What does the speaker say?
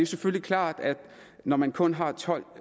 selvfølgelig klart at når man kun har tolv